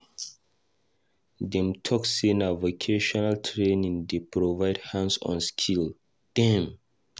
Dem talk sey na vocational training dey provide hands-on skill dem.